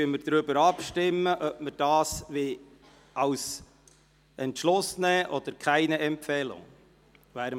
Wir stimmen darüber ab, ob wir diesen als Beschluss verwenden wollen, oder ob wir keine Empfehlung abgeben wollen.